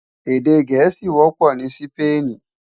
Èdè Gẹẹsi kó wọpọ ni Sípéènì.